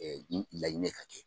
Laɲini ka kɛ